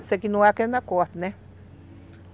Esse aqui não é aquele da corte, né?